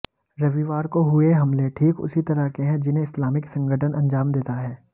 रविवार को हुए हमले ठीक उसी तरह के हैं जिन्हें इस्लामिक संगठन अंजाम देता है